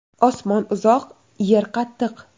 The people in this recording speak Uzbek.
Osmon uzoq, yer qattiq.